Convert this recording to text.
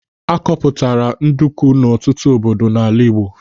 A kpọpụtara nduku n'ọtụtụ obodo n'ala Igbo.